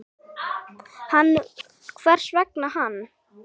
Hann, hvers vegna hann?